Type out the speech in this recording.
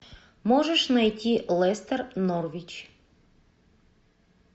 можешь найти лестер норвич